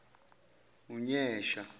unyesha